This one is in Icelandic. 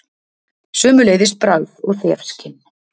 Sömuleiðis bragð- og þefskyn.